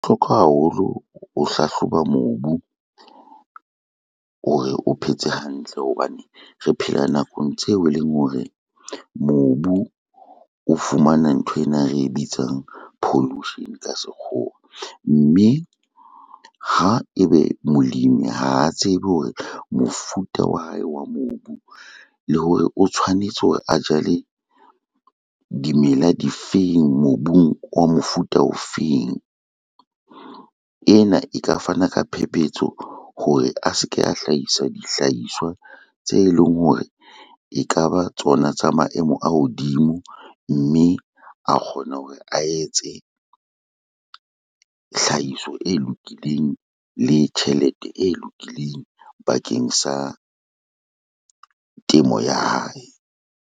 Hlokwa haholo ho hlahloba mobu, hore o phetse hantle hobane re phela nakong tseo e leng hore mobu o fumana nthwena e re bitsang pollution ka sekgowa, mme ha e be molemi ha tseba hore mofuta wa hae wa mobu, le hore o tshwanetse hore a jale dimela difeng, mobung wa mofuta o feng. Ena e ka fana ka phephetso hore a se ke a hlahisa dihlahiswa tse leng hore e ka ba tsona tsa maemo a hodimo, mme a kgona hore a etse hlahiso e lokileng le tjhelete e lokileng bakeng sa temo ya hae.